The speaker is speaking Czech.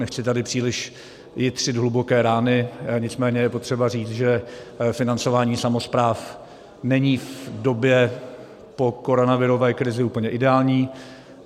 Nechci tady příliš jitřit hluboké rány, nicméně je potřeba říct, že financování samospráv není v době po koronavirové krizi úplně ideální.